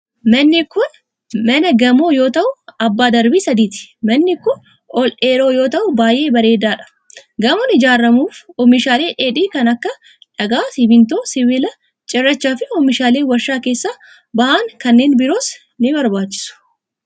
Manni kun ,mana gamoo yoo ta'u, abbaa darbii sadiiti. Manni kun, ol dheeraa yoo ta'u, baay'ee bareedaa dha. Gamoon ijaaramuuf oomishaalee dheedhii kan akka : dhagaa ,simiintoo, sibiila ,cirracha fi oomishaaleen warshaa keessaa bahan kanneen biroos ni barbaachisu.